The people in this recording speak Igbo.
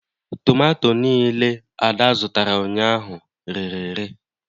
Tomato niile Ada zụtara ụnyaahụ rere ere